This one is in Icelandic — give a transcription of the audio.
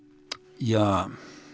ja